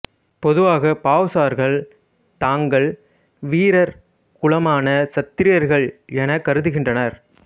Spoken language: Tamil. பொதுவாக பாவ்சார்கள் தாங்கள் வீரர் குலமான சத்திரியர்கள் என கருதுகின்றனர்